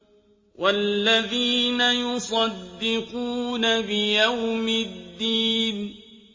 وَالَّذِينَ يُصَدِّقُونَ بِيَوْمِ الدِّينِ